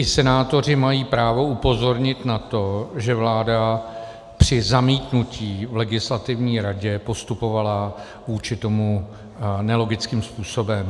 I senátoři mají právo upozornit na to, že vláda při zamítnutí v Legislativní radě postupovala vůči tomu nelogickým způsobem.